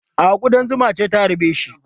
A'a, kuɗan zuma ce ta harbe shi.